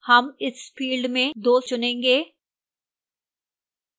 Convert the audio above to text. हम इस field में 2 चुनेंगे